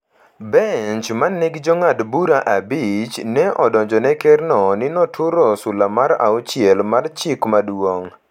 Bench ma ne nigi Jong'ad bura abich ne odonjone Kerno ni noturo sula mar auchiel mar Chik Maduong’,